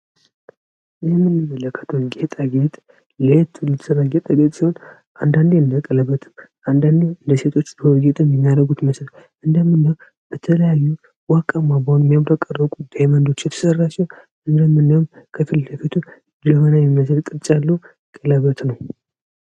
ይህ የምንመለከት የጌጠጌጥ ለየቱ ልስራጌጠጌጥ ሲሆን አንዳንዴ እንደቀለበትም አንዳንዴ እንደሴቶች ደርጌጥን ሊኛረጉት መስር እንደምና በተለያዩ ዋቃማባውን የሚያምረቀረቁ ደመንዶች የተሠራቸው እንደምናም ከፊል ለፊቱ ለሆናዊ መስር ቅርጫለው ቀለበት ነው።